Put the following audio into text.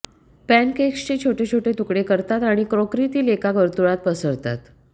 pancakes छोट्या छोट्या तुकडे करतात आणि क्रोकरीतील एका वर्तुळात पसरतात